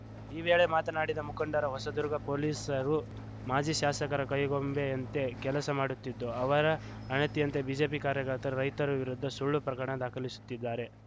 ಈ ವೇಳೆ ಮಾತನಾಡಿದ ಮುಖಂಡರು ಹೊಸದುರ್ಗ ಪೊಲೀಸರು ಮಾಜಿ ಶಾಸಕರ ಕೈಗೊಂಬೆಯಂತೆ ಕೆಲಸ ಮಾಡುತ್ತಿದ್ದು ಅವರ ಅಣತಿಯಂತೆ ಬಿಜೆಪಿ ಕಾರ್ಯಕರ್ತರು ರೈತರ ವಿರುದ್ಧ ಸುಳ್ಳು ಪ್ರಕರಣ ದಾಖಲಿಸುತ್ತಿದ್ದಾರೆ